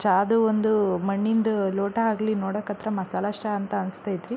ಚಾದು ಒಂದು ಮಣ್ಣಿಂದು ಲೋಟ ಆಗ್ಲಿ ನೋಡಕತ್ರ ಮಸಾಲಾ ಚಾ ಆನ್ಸ್ ತೈತ್ರಿ.